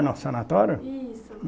No sanatório? Isso